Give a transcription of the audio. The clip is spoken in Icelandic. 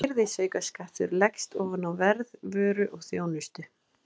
Virðisaukaskattur leggst ofan á verð vöru og þjónustu.